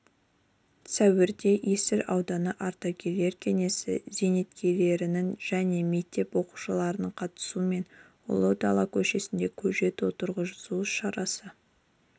сәуірде есіл ауданы ардагерлер кеңесі зейнеткерлерінің және мектеп оқушыларының қатысуымен ұлы дала көшесінде көшет отырғызу шарасы